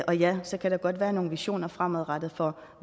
og ja så kan der godt være nogle visioner fremadrettet for